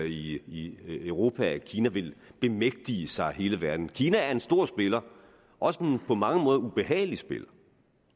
i europa altså at kina vil bemægtige sig hele verden kina er en stor spiller også på mange måder en ubehagelig spiller